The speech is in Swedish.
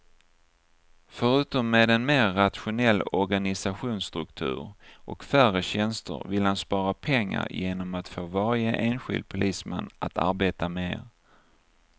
Förutom med en mer rationell organisationsstruktur och färre tjänster vill han spara pengar genom att få varje enskild polisman att arbeta mer.